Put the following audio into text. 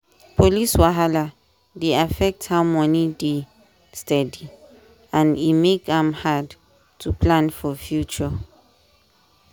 police wahala dey affect how money dey steady and e make am hard to plan for future.